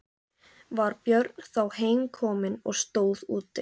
Var Björn þá heim kominn og stóð úti.